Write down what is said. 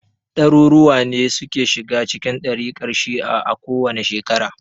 Ɗaruruwa ne suke shiga cikin ɗarikar shi'a a kowace shekara.